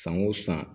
San o san